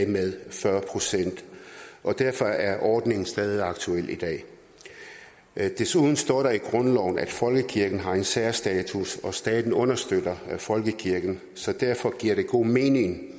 med fyrre procent derfor er ordningen stadig aktuel i dag desuden står der i grundloven at folkekirken har en særstatus og at staten understøtter folkekirken så derfor giver det god mening at